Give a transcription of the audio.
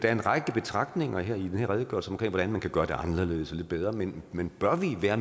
er en række betragtninger i den her redegørelse om hvordan man kan gøre det anderledes og lidt bedre men men bør vi være